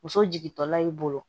Muso jigintɔla y'i bolo